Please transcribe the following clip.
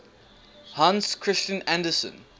hans christian andersen